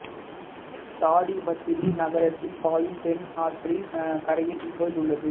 தாடிப்பத்திரி நகரத்தில் பாயும் பென்னா ஆற்றின் கரையில் இக்கோயில் உள்ளது